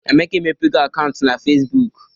Emeka emepego akaụntụ na Fecibooku.